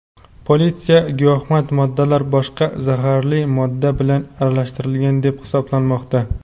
Politsiya giyohvand moddalar boshqa zaharli modda bilan aralashtirilgan deb hisoblamoqda.